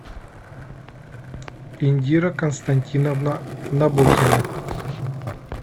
индира константиновна набокина